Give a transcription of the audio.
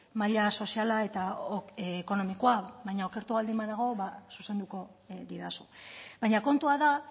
maila soziala eta ekonomikoa baina okertu baldin banago zuzenduko didazu baina kontua da